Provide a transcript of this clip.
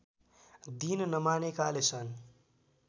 दिन नमानेकाले सन्